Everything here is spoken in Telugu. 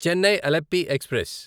చెన్నై అలెప్పీ ఎక్స్ప్రెస్